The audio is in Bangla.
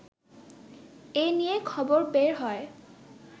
এ নিয়ে খবর বের হয়